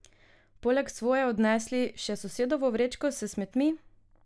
Poleg svoje odnesli še sosedovo vrečko s smetmi?